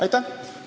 Aitäh!